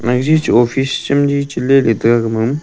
jajich office chemli chaley leytaiga gama a.